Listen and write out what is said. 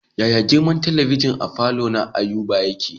Yaya girman talabijin a falo na Ayuba yake?